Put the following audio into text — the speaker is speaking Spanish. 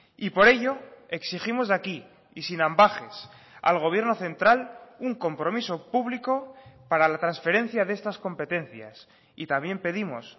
y por ello exigimos de aquí y sin ambages al gobierno central un compromiso público para la transferencia de estas competencias y también pedimos